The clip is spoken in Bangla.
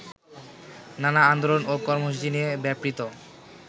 নানা আন্দোলন ও কর্মসূচি নিয়ে ব্যাপৃত